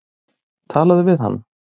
Talaðu við hana.